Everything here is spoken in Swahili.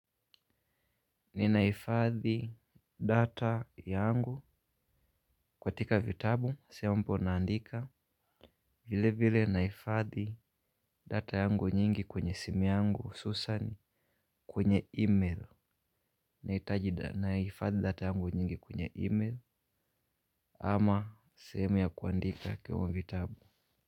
Ni nahifadhi data yangu katika vitabu sempo naandika. Vile vile nahifadhi data yangu nyingi kwenye simi yangu susani kwenye email. Nahitajida naifadhi data yangu nyingi kwenye email ama sehemu ya kuandika kwa vitabu.